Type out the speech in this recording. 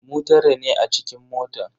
Mu tara ne a cikin motan.